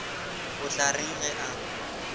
o tla reng ge a